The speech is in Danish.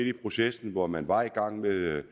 i processen hvor man var i gang med